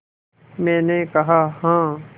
मैंने कहा हाँ